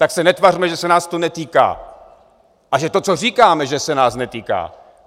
Tak se netvařme, že se nás to netýká a že to, co říkáme, že se nás netýká!